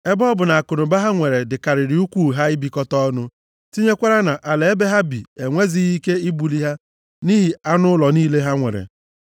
Ebe ọ bụ na akụnụba ha nwere dịkarịrị ukwuu ha ibikọta ọnụ, tinyekwara na ala ebe ha bi enwezighị ike ibuli ha nʼihi anụ ụlọ niile ha nwere.